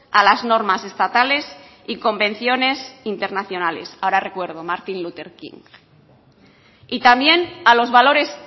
a las normas estatales y convenciones internacionales ahora recuerdo martin luther king y también a los valores